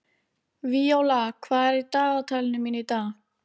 Víóla, hvað er í dagatalinu mínu í dag?